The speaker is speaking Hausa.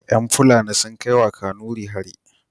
Yan fulani sun kai wa kanuri hari